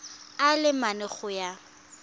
a le mane go ya